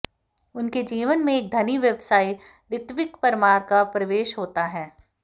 उनके जीवन में एक धनी व्यवसायी ऋत्विक परमार का प्रवेश होता है